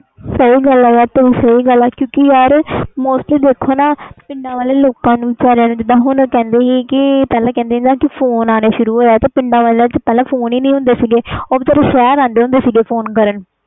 ਸਹੀ ਗੱਲ ਆ ਯਾਰ ਤੇਰੀ ਸਹੀ ਗੱਲ ਆ mostly ਦੇਖੋ ਨਾ ਪਿੰਡਾਂ ਵਾਲੇ ਲੋਕਾਂ ਨੂੰ ਜਿੰਦਾ ਹੁਣ ਕਹਿੰਦੇ ਸੀ ਪਹਿਲੇ ਫੋਨ ਆਏ ਸੀ ਪਰ ਪਿੰਡਾਂ ਵਿਚ ਫੋਨ ਨਹੀਂ ਆਏ ਸੀ ਉਹ ਸ਼ਹਿਰ ਆਂਦੇ ਹੁੰਦੇ ਸੀ ਫੋਨ ਕਰਨ